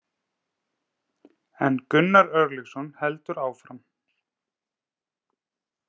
En Gunnar Örlygsson heldur áfram.